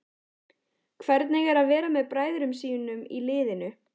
Hvernig er að vera með bræðrum sínum í liðinu?